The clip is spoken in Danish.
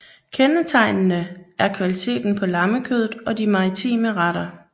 Kendetegnende er kvaliteten på lammekødet og de maritime retter